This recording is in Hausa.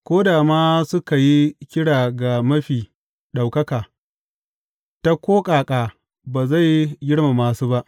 Ko da ma suka yi kira ga Mafi Ɗaukaka, ta ko ƙaƙa ba zai girmama su ba.